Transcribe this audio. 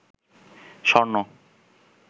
স্বর্ণ